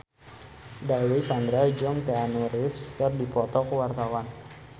Dewi Sandra jeung Keanu Reeves keur dipoto ku wartawan